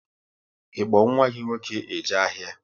Ị kpo nwa gị nwoke eje ahịa?